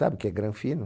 Sabe o que é granfino?